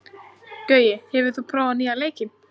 Gaui, hefur þú prófað nýja leikinn?